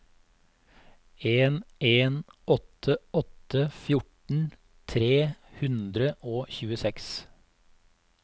en en åtte åtte fjorten tre hundre og tjueseks